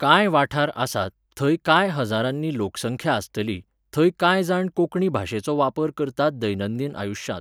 कांय वाठार आसात, थंय कांय हजारांनी लोकसंख्या आसतली, थंय कांय जाण कोंकणी भाशेचो वापर करतात दैनंदिन आयुश्यांत